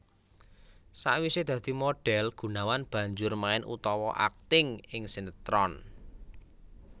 Sawisé dadi modhél Gunawan banjur main utawa akting ing sinetron